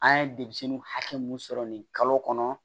An ye demisɛnninw hakɛ mun sɔrɔ nin kalo kɔnɔ